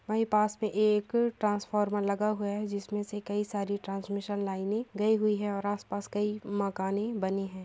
हमारे पास में एक ट्रांसफार्मर लगा हुआ है जिस में से कई सारी ट्रांसमिशन लाइने गई हुए है आसपास कई मकाने बनी है।